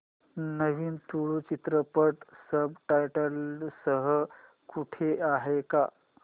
नवीन तुळू चित्रपट subtitles सह कुठे आहे का